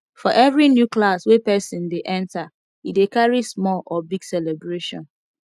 for every new class wey persin de enter e de carry small or big celebration